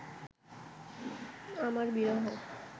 আমার বিরহ